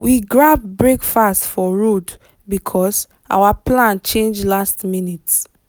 we grab breakfast for road because our plan change last minute.